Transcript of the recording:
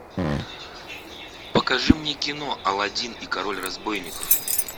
покажи мне кино аладдин и король разбойников